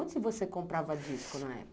Onde você comprava disco na época?